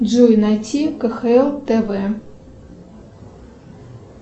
джой найти кхл тв